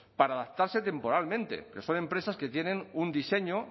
para adaptarse temporalmente que son empresas que tienen un diseño